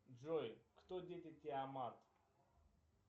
джой кто дети тиамат